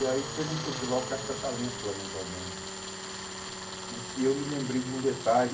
E aí teve um festival caça-talento lá dentro do albergue, e que eu me lembrei de um detalhe,